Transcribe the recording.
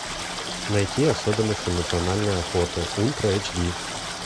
найти особенности национальной охоты ультра эйч ди